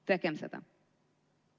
Tehkem seda!